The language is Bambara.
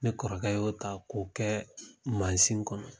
Ne kɔrɔkɛ y'o ta k'o kɛ mansin kɔnɔ